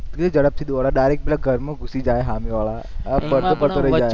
કેવી ઝડપથી દોડે direct પેલા ઘરમાં ઘુસી જાય હામેવાળા